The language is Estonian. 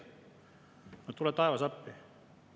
No tule taevas appi!